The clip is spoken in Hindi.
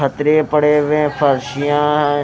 खतरे पड़े हुए हैं फरसियाँ हैं।